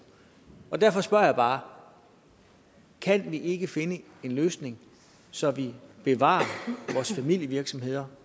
og derfor spørger jeg bare kan vi ikke finde en løsning så vi bevarer vores familievirksomheder